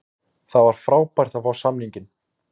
Það var frábært að fá samninginn.